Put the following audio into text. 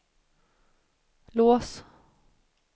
lås